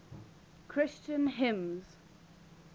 christian hymns